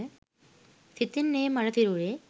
සිතින් ඒ මළ සිරුරේ